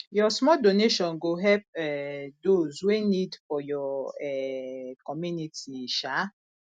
yur small donation go help um dose wey nid for yur um community um